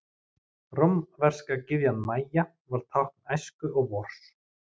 Rómverska gyðjan Maja var tákn æsku og vors.